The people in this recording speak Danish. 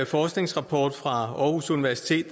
forskningsrapport fra aarhus universitet